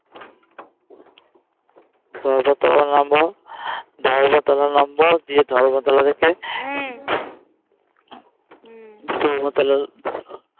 ধর্মতলা নামবো ধর্মতলা নামবো দিয়ে ধর্মতলা থেকে ধর্মতলা